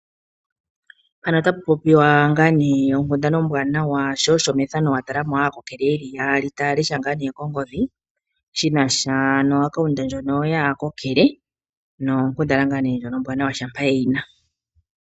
Mpano otapu popiwa ngaa nee onkundana ombwanawa sho osho mefano wa tala mo aakokele yeli yaali taya lesha ngaa nee ongodhi, shinasha nompungulilo ndjono yaakokele nonkundana ngaa nee ndjono ombwanawa shampa yeyi na.